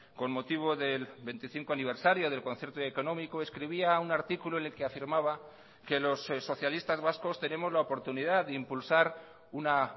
con motivo del veinticinco aniversario del concierto económico escribía un artículo en el que afirmaba que los socialistas vascos tenemos la oportunidad de impulsar una